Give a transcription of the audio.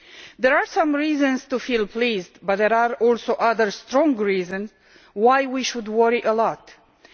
There are some reasons to feel pleased, but there are also other strong reasons why we should worry a great deal.